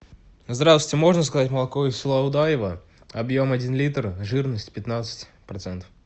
здравствуйте можно заказать молоко из села удоево объем один литр жирность пятнадцать процентов